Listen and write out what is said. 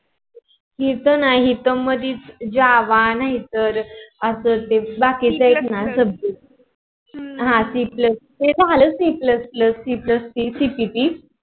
हा टी पण जम मधी java नाही थर बाकीच subject ते थर आलेच नाही